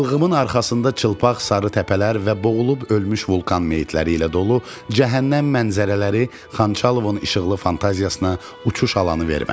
Ilğımın arxasında çılpaq sarı təpələr və boğulub ölmüş vulkan meyitləri ilə dolu cəhənnəm mənzərələri Xançalovun işıqlı fantaziyasına uçuş alanı vermədi.